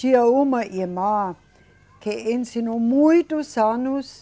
Tinha uma irmã que ensinou muitos anos